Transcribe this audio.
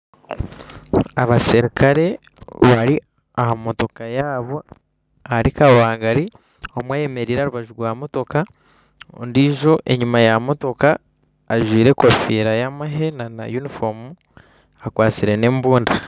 Abaserukare bari aha mootoka yaabo ahari kabangari omwe ayemereire aha rubaju rw'amotoka ondiijo enyuma ya motoka ajwaire enkofiira yamahe na yunifoomu akwatsire nembundu